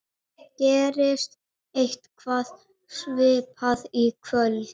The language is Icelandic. Gerist eitthvað svipað í kvöld?